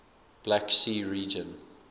black sea region